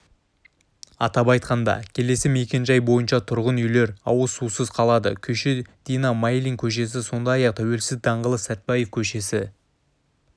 атап айтқанда келесі мекен-жай бойынша тұрғын үйлер ауыз сусыз қалады күйші дина майлин көшесі сондай-ақ тәуелсіздік даңғылы сәтбаев көшесі